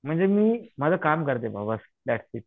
म्हणजे मी माझं काम करते बाबा दॅट्स इट